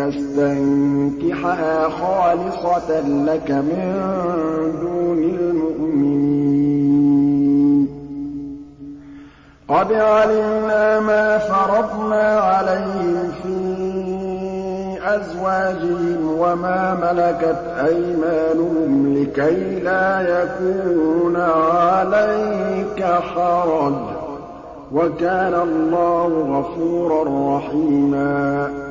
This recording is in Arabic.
يَسْتَنكِحَهَا خَالِصَةً لَّكَ مِن دُونِ الْمُؤْمِنِينَ ۗ قَدْ عَلِمْنَا مَا فَرَضْنَا عَلَيْهِمْ فِي أَزْوَاجِهِمْ وَمَا مَلَكَتْ أَيْمَانُهُمْ لِكَيْلَا يَكُونَ عَلَيْكَ حَرَجٌ ۗ وَكَانَ اللَّهُ غَفُورًا رَّحِيمًا